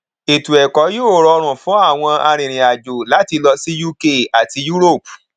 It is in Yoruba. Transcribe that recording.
ètò ẹkọ yìí rọrùn fún àwọn arinrìnàjò láti lọ sí uk àti europe